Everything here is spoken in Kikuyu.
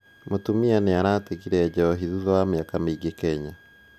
Mũtumia nĩratigire njohi thutha wa miaka mingĩ Kenya